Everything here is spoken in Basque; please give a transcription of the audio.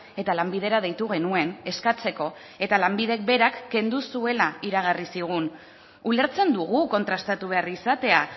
eta lanbidera deitu genuen eskatzeko eta lanbidek berak kendu zuela iragarri zigun ulertzen dugu kontrastatu behar izatea